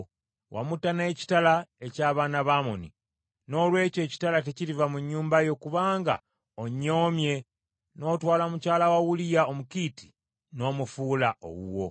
Wamutta n’ekitala eky’Abaana ba Amoni. Noolwekyo ekitala tekiriva mu nnyumba yo, kubanga onnyoomye n’otwala mukyala wa Uliya Omukiiti n’omufuula owuwo.